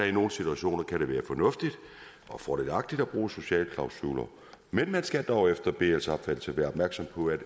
i nogle situationer kan være fornuftigt og fordelagtigt at bruge sociale klausuler men man skal dog efter bls opfattelse være opmærksom på